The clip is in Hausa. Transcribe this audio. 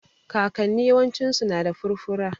Kakanni yawancinsu na da furfura